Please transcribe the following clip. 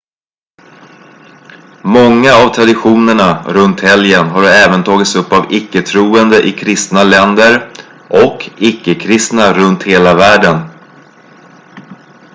många av traditionerna runt helgen har även tagits upp av icke-troende i kristna länder och icke-kristna runt hela världen